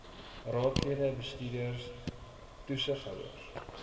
raadslede bestuurders toesighouers